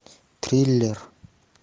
триллер